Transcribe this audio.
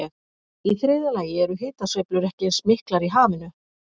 Í þriðja lagi eru hitasveiflur ekki eins miklar í hafinu.